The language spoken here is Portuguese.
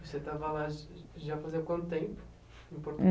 Você estava lá já fazia quanto tempo